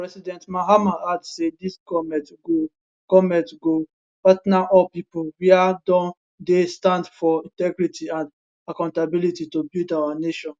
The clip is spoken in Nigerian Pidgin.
president mahama add say dis goment go goment go partner all pipo wia don dey stand for integrity and accountability to build our nation